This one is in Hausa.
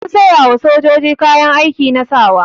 An sayawa sojoji kayan aiki na sawa.